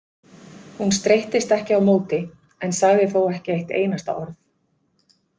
Hún streittist ekki á móti en sagði þó ekki eitt einasta orð.